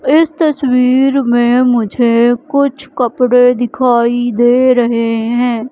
इस तस्वीर में मुझे कुछ कपड़े दिखाई दे रहे हैं।